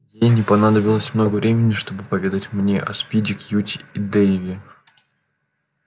ей не понадобилось много времени чтобы поведать мне о спиди кьюти и дейве